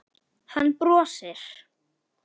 Hann brosir.